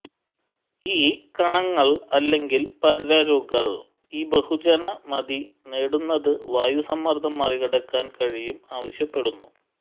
ഈ കണങ്ങൾ അല്ലെങ്കിൽ പരലുകൾ ഈ ബഹുജന മതി നേടുന്നത് വായു സമ്മർദ്ദം മറികടക്കാൻ കഴിയും ആവശ്യപ്പെടുന്നു